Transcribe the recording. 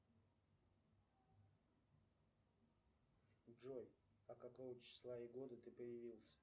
джой а какого числа и года ты появился